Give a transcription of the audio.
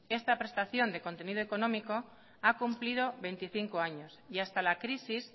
esta prestación de contenido económico ha cumplido veinticinco años y hasta la crisis